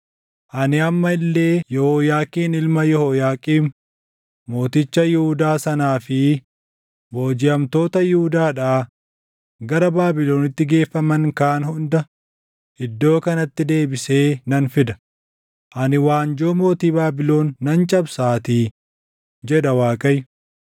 Ani amma illee Yehooyaakiin ilma Yehooyaaqiim mooticha Yihuudaa sanaa fi boojiʼamtoota Yihuudaadhaa gara Baabilonitti geeffaman kaan hunda iddoo kanatti deebisee nan fida; ani waanjoo mootii Baabilon nan cabsaatii’ jedha Waaqayyo.”